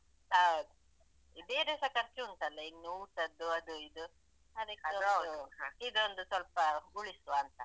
ಹೌದು ಬೇರೆಸ ಖರ್ಚುಂಟಲ್ಲ ಇನ್ನು ಊಟದ್ದು ಅದು ಇದು ಇದೊಂದು ಸ್ವಲ್ಪ ಉಳಿಸುವ ಅಂತ.